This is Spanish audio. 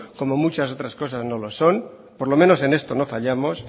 como muchas otras cosas no lo son por lo menos en esto no fallamos